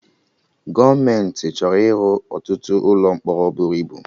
Gọọmenti chọrọ ịrụ ọtụtụ ụlọ mkpọrọ bụrụ ibu